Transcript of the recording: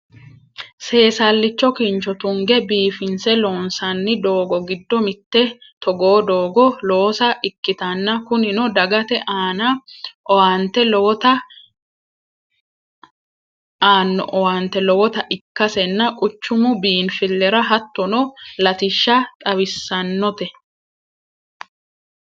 seesallicho kincho tunge biifinse loonsanni doogo giddo mitte togoo doogo loosa ikkitanna kunino dagate aanno owaante lowota ikkasenna quchumu biinfillira hattono latishsha xawissannote